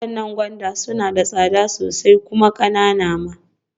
Waɗannan gwanda suna da tsada sosai kuma ƙananan ma.